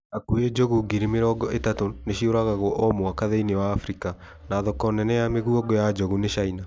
Hakuhĩ njogu ngiri mĩrongo ĩtatũ nĩciũragagwo o mwaka thĩiniĩ wa Afrika, na thoko nene ya mĩguongo ya njogu ni China